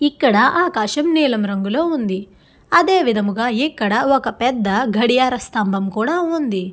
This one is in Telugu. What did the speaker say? ఇక్కడ ఆకాశం నీలం రంగులో ఉంది అదే విధామముగా ఇక్కడ ఒక పెద్ద గడియార స్తంభం కూడా ఉంది.